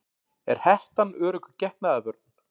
Er hettan örugg getnaðarvörn?